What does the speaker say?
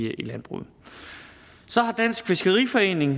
landbruget så har dansk fiskeriforening